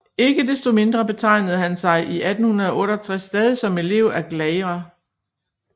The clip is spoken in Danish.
Ikke desto mindre betegnede han sig i 1868 stadig som elev af Gleyre